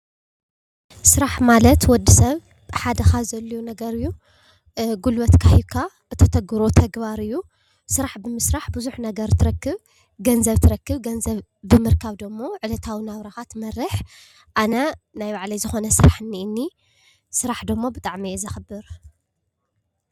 ስራሕ ማለት ወዲ ሰብ ሓደ ካብ ዘድለዮ ነገር እዩ። ጉልበትካ ሂብካ እተተግብሮ ተግባር እዩ። ስራሕ ብምስራሕ ብዙሕ ነገር ትረክብ ገንዘብ ትረክብ ገንዘብ ብምርካብ ደሞ ዕለታዊ ናብራካ ትመርሕ። ኣነ ናይ ባዕለይ ዝኮነ ስራሕ እኒኤኒ ስራሕ ደሞ ብጣዕሚ እየ ዘክብር።